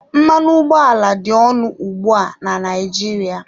Mmanụ ụgbọala dị ọnụ ugbu a na Naịjirịa.